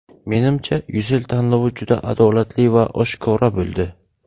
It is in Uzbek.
Menimcha, Ucell tanlovi juda adolatli va oshkora bo‘ldi.